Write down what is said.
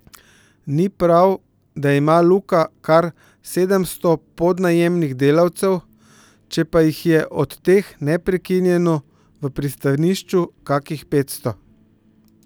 Ni prav, da ima Luka kar sedemsto podnajemnih delavcev, če pa jih je od teh neprekinjeno v pristanišču kakih petsto.